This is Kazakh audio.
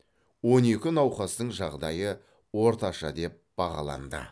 он екі науқастың жағдайы орташа деп бағаланды